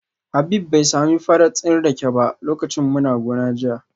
Habib bai sami farat din rake ba lokacin muna gona jiya